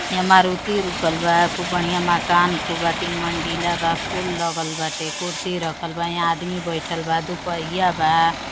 यहा मारुति रुकल बा। खुब बढ़िया मकान खुबा तीन मंजिला बा। फूल लगल बाटे। कुर्सी रखल बा। यहा आदमी बेठल बा। दूपहिया बा।